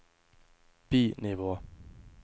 bi-nivå